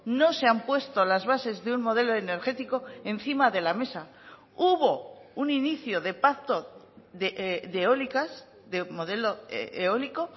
no se han puesto las bases de un modelo energético encima de la mesa hubo un inicio de pacto de eólicas de modelo eólico